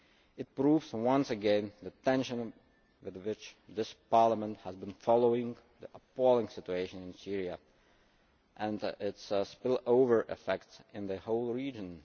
today. It proves once again the attention with which this Parliament has been following the appalling situation in Syria and its spillover effects in the whole region.